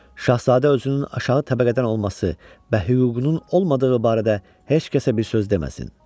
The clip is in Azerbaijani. Şahzadə özünün aşağı təbəqədən olması və hüququnun olmadığı barədə heç kəsə bir söz deməsin.